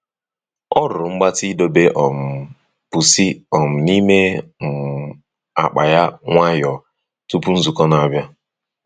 Ọ rụrụ mgbatị ịdọba um pusi um n'ime um akpa ya nwayọọ tupu nzukọ na-abịa.